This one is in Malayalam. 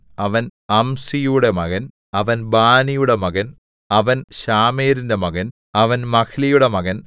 അവൻ അംസിയുടെ മകൻ അവൻ ബാനിയുടെ മകൻ അവൻ ശാമെരിന്റെ മകൻ അവൻ മഹ്ലിയുടെ മകൻ